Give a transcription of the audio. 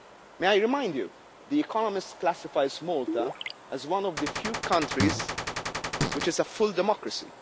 law. May I remind you, The Economist classifies Malta as one of the few countries which is a full democracy.